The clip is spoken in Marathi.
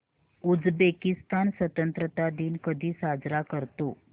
उझबेकिस्तान स्वतंत्रता दिन कधी साजरा करतो